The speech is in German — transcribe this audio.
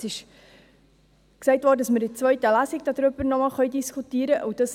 Es wurde gesagt, dass wir in der zweiten Lesung noch einmal darüber diskutieren können.